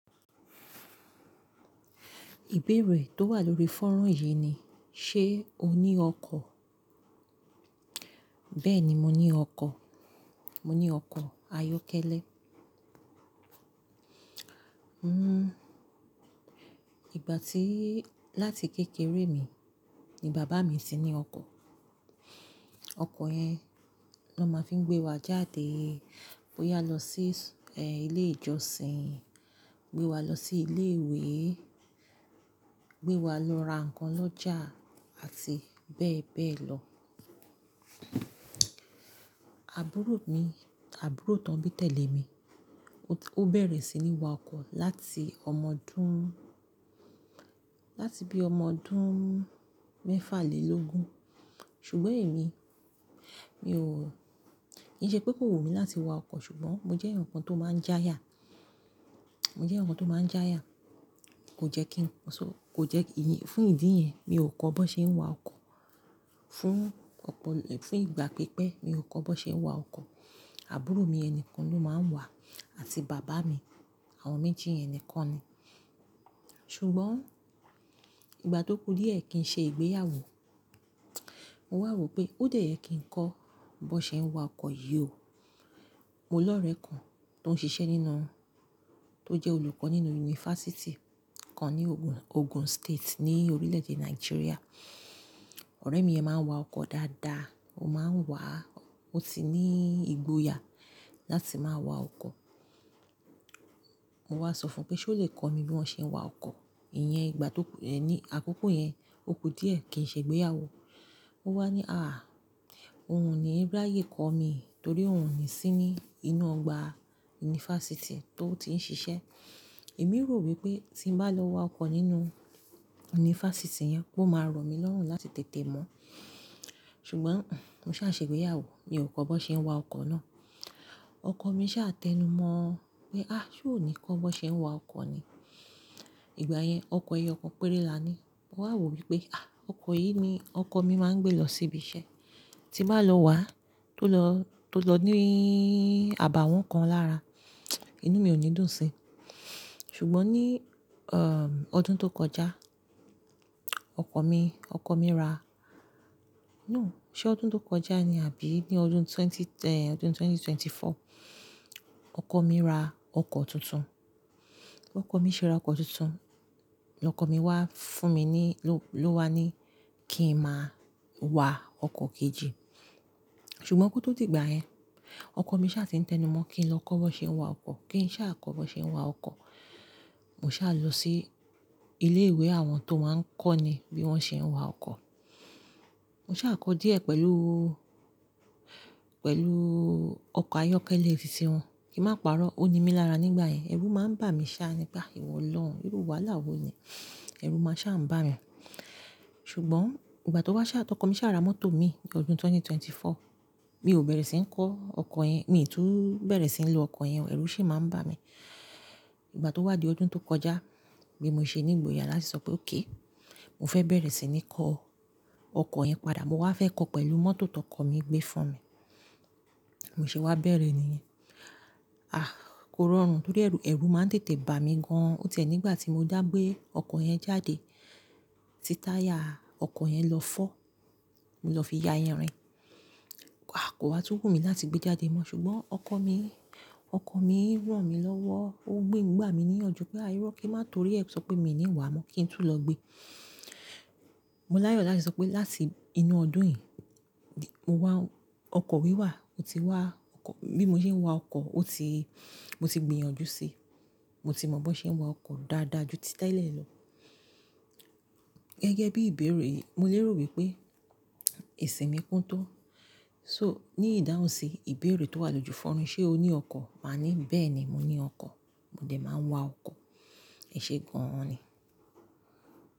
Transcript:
Ìbéèrè tó wà lórí fanran yìí ni "ṣé o ní ọkọ̀?" Bẹ́ẹ̀ni, mo ní ọkọ̀. Mo ní ọkọ̀ ayọ́kẹ́lẹ́. Hmm, ìgbà tí-- láti kékeré mi, ni bàbá mi ti ní ọkọ̀. Ọkọ̀ yẹn ló máa ń fi gbé wa jáde, bóyá lọ sí, eh, ilé ìjọsìn, gbé wa lọ sí ilé ìwé, gbé wa lọ ra nǹkan lọ́jà àti bẹ́ẹ̀ bẹ́ẹ̀ lọ. Àbúrò mi, àbúrò tán bí tẹ̀lé mi, ó bẹ̀rẹ̀ sí ní wa ọkọ̀ láti ọmọ ọdún-- láti bí ọmọ ọdún mẹ́fà lé logun. Ṣùgbọ́n èmi, mi ò kì í ṣe pé kò wù mí láti wa ọkọ̀, ṣùgbọ́n mo jẹ́ eeyan kan tó máa ń jáya. Mo jẹ́ ǹkan tó máa ń jáya. Kò jẹ́ kí n-- kò jẹ́-- fún ìdí yẹn, mi ò kọ́ bó ṣe ń wa ọkọ̀. Fún ọ̀pọ̀-- fún ìgbà pípẹ́, mi ò kọ́ bó ṣe ń wa ọkọ̀. Àbúrò mi ni kan ló máa ń wà àti bàbá mi, àwọn méjì yẹn nìkan ni. Ṣùgbọ́n ìgbà tó kú díẹ̀ kí n ṣe ìgbéyàwó, mo wà wò pé ó dè ẹ́ kí n kọ́ bó ṣe ń wa ọkọ̀ yìí o. Mo ló ọ̀rẹ́ kan tó ń ṣiṣẹ́ nínú-- tó jẹ́ olùkọ́ nínú yunifásítì kan ní Ogun, Ogun State ní orílẹ̀ èdè Nàìjíríà. Ọ̀rẹ́ mi yẹn máa ń wa ọkọ̀ dáadáa, ó máa ń wà, ó ti ní ìgboyà láti máa wa ọkọ̀. Mo wá sọ fún un pé ṣé ó lè kọ mi bí wọ́n ṣe ń wa ọkọ̀. Iyẹn ìgbà tó kú-- ẹ ní àkókò yẹn, ó kú díẹ̀ kí n ṣe ìgbéyàwó. Ó wá ní, "àh, òun ní ráye kọ́ mi torí òun ní sí ní inú ọgbà yunifásítì tó ti ń ṣiṣẹ́." Èmi rò wípé tí n bá lọ wa ọkọ̀ nínú yunifásítì yẹn, ó máa rọ̀ mí lọ́hùn láti tètè mọ̀. Ṣùgbọ́n, mo sa se igbeyawo, mi ò kọ́ bón ṣe ń wa ọkọ̀ náà. Ọkọ̀ mi sá tẹnumọ̀ pé, "àh, ṣé o ní kọ́ bó ṣe ń wa ọkọ̀ ni?" Ìgbà yẹn, eyo kan péré lánì. Mo wà wò wípé, "àh, ọkọ̀ yìí ni ọkọ̀ mi máa ń gbé lọ síbi iṣẹ́. Tí n bàá lọ wà á, tó lọ, tó lọ níí àbàwọ́n kan lára, inú mi ò ní dùn sí." Ṣùgbọ́n ní, um, ọdún tó kọjá, ọkọ̀ mi, ọkọ̀ mi ra-- no, ṣé ọdún tó kọjá ni? Àbí ní ọdún twenty-- eh, ọdún 2024? Ọkọ̀ mi ra ọkọ̀ tuntun. Ọkọ̀ mi ṣe ra ọkọ̀ tuntun. Ọkọ̀ mi wá fún mi ní, ló, ló wá ní kí n máa wa ọkọ̀ kejì. Ṣùgbọ́n kó tó di ìgbà yẹn, ọkọ̀ mi sá ti ń tẹnumọ̀ kí n lọ kọ́ bó ṣe ń wa ọkọ̀, kí n sá kọ́ bó ṣe ń wa ọkọ̀. Mo sá lọ sí ilé ìwé àwọn tó máa ń kọ́ ni bí wọ́n ṣe ń wa ọkọ̀. Mo sá kọ́ díẹ̀ pẹ̀lú, pẹ̀lú ọkọ̀ ayọ́kẹ́lẹ́ ti wọn. Ki má pa'rọ́, ó ni mí lára nígbà yẹn. Ẹrú máa ń bà mí sá nígbà ìwọ olorun, irú wàhálà wo ni? Ẹrú máa sá ń bà mí. Ṣùgbọ́n ìgbà tó wá sá, tọkọ mi sá ra mọ́tò mi ní ọdún 2024. Mi ò bẹ̀rẹ̀ sí ní kọ́ ọkọ̀ yẹn, mi kò tú bẹ̀rẹ̀ sí ní lo ọkọ̀ yẹn, ẹ̀rù sì máa ń bà mí. Ìgbà tó wá di ọdún tó kọjá, bí mo ṣe ní ìgboyà láti sọ pé okay, mo fẹ́ bẹ̀rẹ̀ sí ní kọ ọkọ̀ yẹn padà, mo wá fẹ́ kọ́ pẹ̀lú mọ́tò tó kọ̀ mí gbé fún mi. Mo ṣe wá bẹ̀rẹ̀ níyẹn. Àh, kò rọrùn torí ẹ̀rù, ẹ̀rù máa ń tètè bà mí gan an. Ó ti ẹ́ nígbà tí mo dá gbé ọkọ̀ yẹn jáde, tí táyà ọkọ̀ yẹn lọ fọ́, mo lọ fi ya irin. A kò wá tun wù mí láti gbé jáde mọ́. Ṣùgbọ́n ọkọ̀ mi, ọkọ̀ mi ràn mí lọ́wọ́, ó gbé mi gbà mí ní ìyanjú pé, "iró, kin má torí ẹ̀ sọ pé mi ò ní wàá mọ́ kí n tún lọ gbé." Mo láyọ̀ láti sọ pé láti inú ọdún yìí, mo wá-- ọkọ̀ mi wà. Ó ti wà. Ọkọ̀-- bí mo ṣe ń wa ọkọ̀, ó ti-- mo ti gbìyànjú sí i. Mo ti mọ̀ bó ṣe ń wa ọkọ̀ dáadáa ju ti tẹ́lẹ̀ lọ. Gẹ́gẹ́ bí ìbéèrè yìí, mo lè rò wípe esi mi kún tó. So ní ìdáhùn sí ìbéèrè tó wà lójú fanran yi "ṣé o ní ọkọ̀?" Màá ní, "bẹ́ẹ̀ni, mo ní ọkọ̀, mo dẹ̀ máa ń wa ọkọ̀." Ẹ̀ṣee gan an ni.